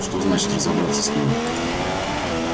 что значит разобраться с ними